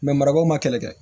marabaw ma kɛlɛ kɛ